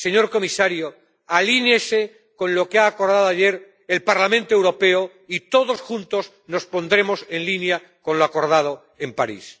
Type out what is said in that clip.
Señor comisario, alinéese con lo que acordó ayer el Parlamento Europeo, y todos juntos nos pondremos en línea con lo acordado en París.